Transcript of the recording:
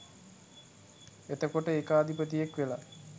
එතකොට ඒකාධිපතියෙක් වෙලා